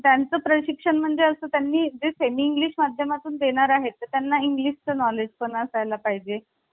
आणि तो ठराव पुढे जाऊन बावीस जानेवारी एकोणविशे सत्तेचाळीस मध्ये संमत झाला. आणि या ठरावातूनच भारतीय प्रस्तावनेची निर्मिती करण्यात आलेली आहे. आता भारतीय प्रस्तावनेमध्ये